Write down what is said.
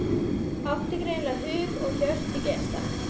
Átti greinilega hug og hjörtu gestanna.